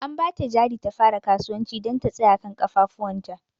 An ba ta jari ta fara kasuwanci don ta tsaya kan ƙafafuwanta.